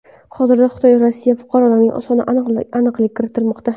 Hozirda Xitoydagi Rossiya fuqarolarning soniga aniqlik kiritilmoqda.